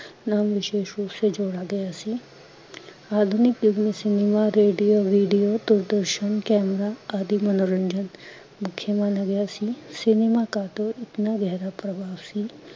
ਨਾਮ ਵਿਸ਼ੇਸ ਰੂਪ ਸੇ ਜੋੜ ਗਿਆ ਸੀ ਅਧਨੀਕ ਯੁੱਗ ਮੇ cinema radio video Doordarshan camera ਆਦਿ ਮਨੋਰੰਜਨ ਕੇ, ਮੁਕਯ ਮਾਨਾ ਗਿਆ ਸੀ cinema ਕਾ ਤੋਂ ਇਤਨਾ ਗਹਿਰਾ ਪ੍ਰਭਾਵ ਸੀ